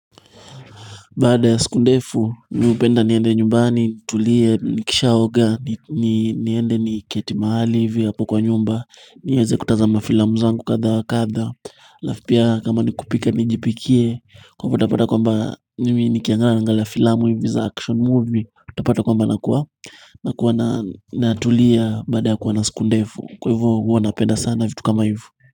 Baada ya siku ndefu mi hupenda niende nyumbani, tulie, nikisha oga, niende niketi mahali hivi hapo kwa nyumba niweze kutazama filamu zangu katha wa katha alafu pia kama ni kupika, nijipikie Kwaivyo utapata kwamba mimi nikiangalia naangalia nangalia filamu hivi za action movie utapata kwamba nakua Nakua natulia baada ya kuwa na siku ndefu Kwa hivyo huwa napenda sana vitu kama hivo.